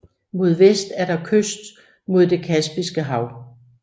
Mod vest er der kyst mod det Kaspiske Hav